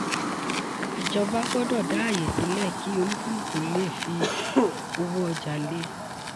ìjọba gbọ́dọ̀ dá ààyè sílẹ̀ kí olúkúlùkù lè fi owó ọjà lé.